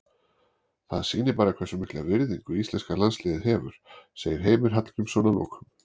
Það sýnir bara hversu mikla virðingu íslenska landsliðið hefur, segir Heimir Hallgrímsson að lokum.